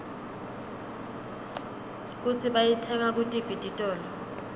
kutsi bayitsenga kutiphi titolo